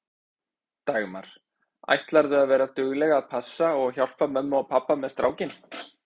Dagmar: Ætlarðu að vera dugleg að passa og hjálpa mömmu og pabba með strákinn?